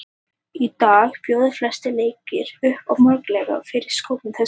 Í dag bjóða flestir leikir upp á möguleika fyrir sköpunargáfu þess sem spilar.